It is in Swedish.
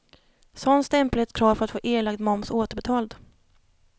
Sådan stämpel är ett krav för att få erlagd moms återbetald.